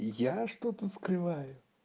я что-то скрываю